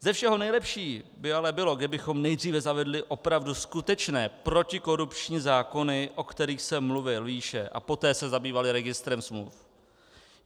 Ze všeho nejlepší by ale bylo, kdybychom nejdříve zavedli opravdu skutečné protikorupční zákony, o kterých jsem mluvil výše, a poté se zabývali registrem smluv.